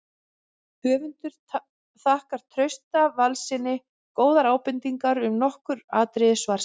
Höfundur þakkar Trausta Valssyni góðar ábendingar um nokkur atriði svarsins.